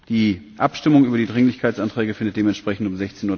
Die Abstimmung über die Dringlichkeitsanträge findet dementsprechend um